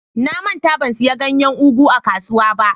Na manta ban siya ganyen " ugu" a kasuwa ba.